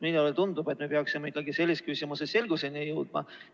Minule tundub, et me peaksime ikkagi selles küsimuses selgusele jõudma.